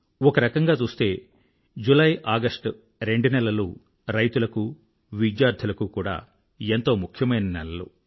ఒక రకంగా చూస్తే జులై ఆగస్టు రెండు నెలలు రైతులకు విద్యార్థులకూ కూడా ఎంతో ముఖ్యమైన నెలలు